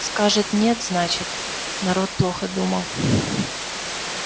скажет нет значит народ плохо думал